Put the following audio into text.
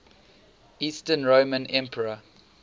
eastern roman emperor